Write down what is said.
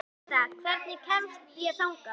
Janetta, hvernig kemst ég þangað?